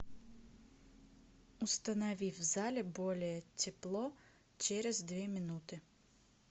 установи в зале более тепло через две минуты